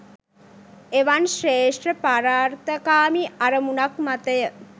එවන් ශ්‍රේෂ්ඨ පරාර්ථකාමී අරමුණක් මතය.